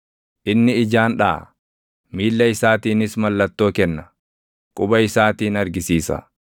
inni ijaan dhaʼa; miilla isaatiinis mallattoo kenna; quba isaatiin argisiisa;